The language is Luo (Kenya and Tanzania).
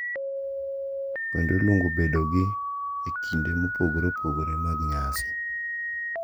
Kendo iluongo bedogi e kinde mopogore opogore mag nyasi.